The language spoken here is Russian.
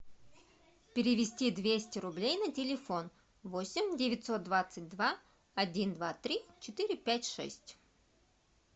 перевести двести рублей на телефон восемь девятьсот двадцать два один два три четыре пять шесть